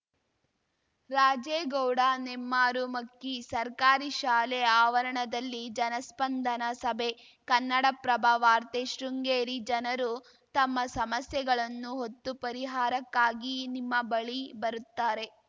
ರಾಜೇಗೌಡ ನೆಮ್ಮಾರು ಮಕ್ಕಿ ಸರ್ಕಾರಿ ಶಾಲೆ ಆವರಣದಲ್ಲಿ ಜನಸ್ಪಂದನ ಸಭೆ ಕನ್ನಡಪ್ರಭ ವಾರ್ತೆ ಶೃಂಗೇರಿ ಜನರು ತಮ್ಮ ಸಮಸ್ಯೆಗಳನ್ನು ಹೊತ್ತು ಪರಿಹಾರಕ್ಕಾಗಿ ನಿಮ್ಮ ಬಳಿ ಬರುತ್ತಾರೆ